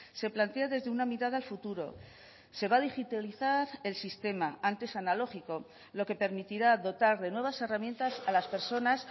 se plantea desde una mirada al futuro se va a digitalizar el sistema antes analógico lo que permitirá dotar de nuevas herramientas a las personas